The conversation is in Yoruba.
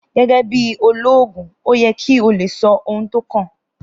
Gẹ́gẹ́ bí olóògùn ó yẹ kí o lè sọ ohun tó kàn